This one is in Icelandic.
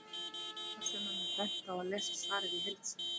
Áhugasömum er bent á að lesa svarið í heild sinni.